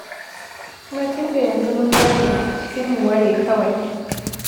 Kuma tun da yanzu mun gane, sai mu ware kawai.